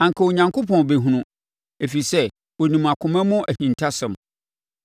anka Onyankopɔn bɛhunu, ɛfiri sɛ ɔnim akoma mu ahintasɛm.